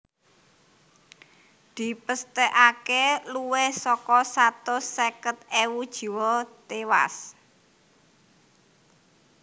Dipesthèkaké luwih saka satus seket ewu jiwa tiwas